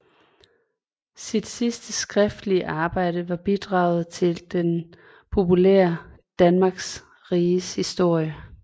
Sit sidste skriftlige arbejde var bidraget til den populære Danmarks Riges Historie